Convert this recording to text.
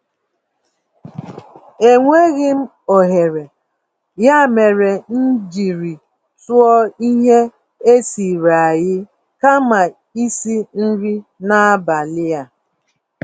Enweghịm ohere, ya mere m jírí tụọ ihe esiri-eai kama isi nri n'abalị a.